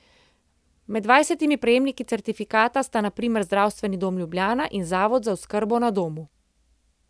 Med dvajsetimi prejemniki certifikata sta na primer Zdravstveni dom Ljubljana in Zavod za oskrbo na domu.